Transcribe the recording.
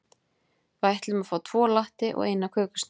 Við ætlum að fá tvo latte og eina kökusneið.